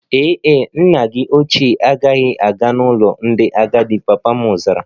Ee e, nna gi oche agaghị aga n'ụlọ ndị agadi, papa m zara